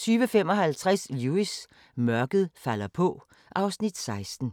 20:55: Lewis: Mørket falder på (Afs. 16)